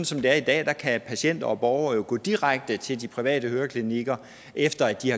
som det er i dag kan patienter og borgere jo gå direkte til de private høreklinikker efter at de